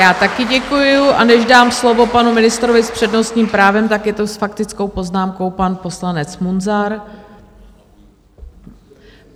Já také děkuju a než dám slovo panu ministrovi s přednostním právem, tak je to s faktickou poznámkou pan poslanec Munzar.